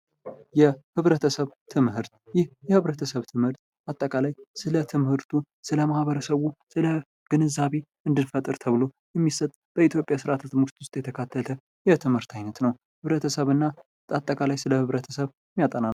የህብረተሰብ ትምህርት የህብረተሰብ ትምህርት አጠቃላይ ስለ ማህበረሰቡ ግንዛቤ እንድንፈጥር ተብሎ በኢትዮጵያ ትምህርት ስርዓት ውስጥ የተካተተ ትምህርት አይነት ነው።